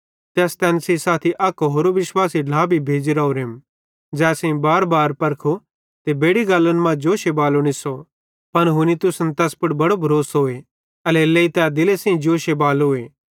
ते अस तैन सेइं साथी अक होरो विश्वासी ढ्ला भी भेज़ी राओरेम ज़ै असेईं बारबार परखो ते बेड़ि गल्लन मां जोशे बालो निस्सो पन हुनी तुसन पुड़ तैस बड़ो भरोसोए एल्हेरेलेइ तै दिले सेइं जोशे बालोए